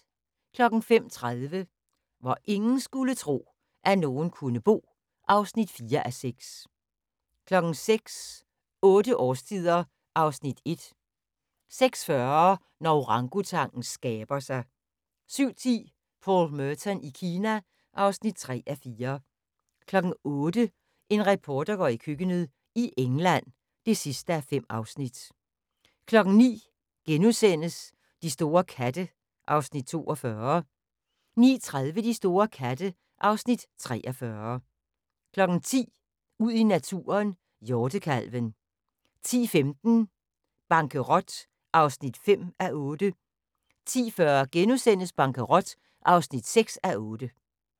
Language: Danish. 05:30: Hvor ingen skulle tro, at nogen kunne bo (4:6) 06:00: Otte årstider (Afs. 1) 06:40: Når orangutangen skaber sig 07:10: Paul Merton i Kina (3:4) 08:00: En reporter går i køkkenet - i England (5:5) 09:00: De store katte (Afs. 42)* 09:30: De store katte (Afs. 43) 10:00: Ud i naturen: Hjortekalven 10:15: Bankerot (5:8) 10:40: Bankerot (6:8)*